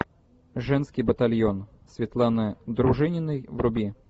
женский батальон светланы дружининой вруби